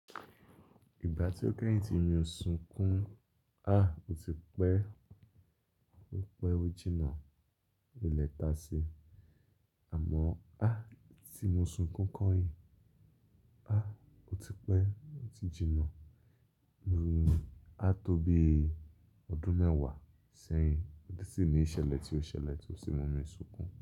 Ìgbà tí ó kẹ́yìn tí mo sun kú, ó ti pẹ́, ó ti pẹ́ ojì náà, ilẹ̀ ta sí. Àmọ́ tí mo sun kún kọ́ yìí, ó ti pẹ́, ó ti jìnà, àtọ́ bí ọdún mẹ́wàá sẹ́yìn. Ó ti sì ní ìṣẹ̀lẹ̀ tí ó ṣẹlẹ̀ tí ó sì mú mi sunkún.